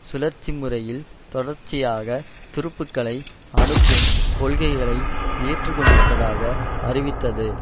சுழற்சிமுறையில் தொடர்ச்சியாக துருப்புக்களை அனுப்பும் கொள்கைகளை ஏற்றுக்கொண்டிருப்பதாக அறிவித்தது